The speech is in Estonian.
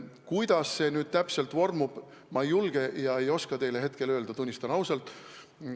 Kuidas see nüüd täpselt vormub, seda ei julge ega oska ma teile hetkel öelda, tunnistan ausalt.